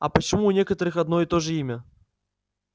а почему у некоторых одно и то же имя